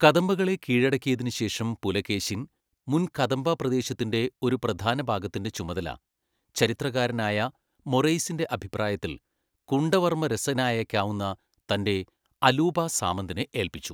കദംബകളെ കീഴടക്കിയതിനുശേഷം പുലകേശിൻ മുൻ കദംബ പ്രദേശത്തിൻ്റെ ഒരു പ്രധാനഭാഗത്തിൻ്റെ ചുമതല, ചരിത്രകാരനായ മൊറെയ്സിൻ്റെ അഭിപ്രായത്തിൽ കുണ്ടവർമ്മരസനായേക്കാവുന്ന, തൻ്റെ അലൂപാസാമന്തനെ ഏൽപ്പിച്ചു.